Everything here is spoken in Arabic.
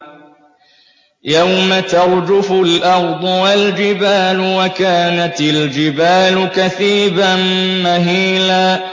يَوْمَ تَرْجُفُ الْأَرْضُ وَالْجِبَالُ وَكَانَتِ الْجِبَالُ كَثِيبًا مَّهِيلًا